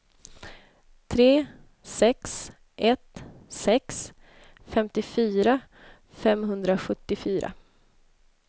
tre sex ett sex femtiofyra femhundrasjuttiofyra